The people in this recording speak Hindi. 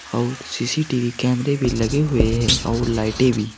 और सी_सी_टी_वी कैमरे भी लगे हुए हैं और लाइटे भी।